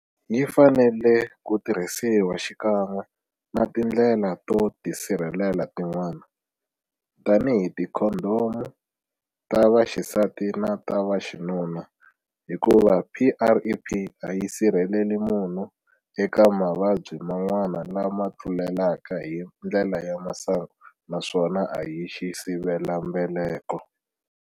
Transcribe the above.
Yi fanele ku tirhisiwa xikan'we na tindlela to tisirhelela tin'wana, tanihi tikhondomu ta vaxisati na ta vaxinuna, hikuva PrEP a yi sirheleli munhu eka mavabyi man'wana lama tlulelaka hi ndlela ya masangu naswona a hi xisivelambeleko.